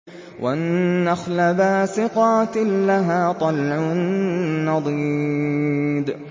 وَالنَّخْلَ بَاسِقَاتٍ لَّهَا طَلْعٌ نَّضِيدٌ